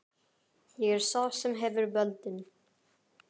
Ég er sá sem hefur völdin.